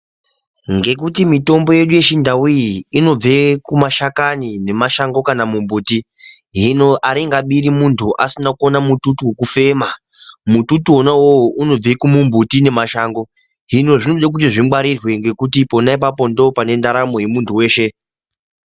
Ngekuti mitombo yedu yechindau iyi inobve kumashakani nemashango kana mumbuti hino aringabiri muntu asina kuonamututu wekufema mututu wona uwowo unobve kumumbuti nemashango hinozvinode kuti zvingwarirwe ngekuti pona ipapo ndopane ndaramo yemuntu weshe